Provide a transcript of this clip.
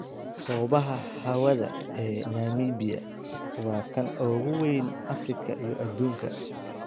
Hobaxa hawada ee Namibia waa kan ugu weyn Afrika iyo adduunka.